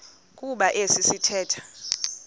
kuba esi sithethe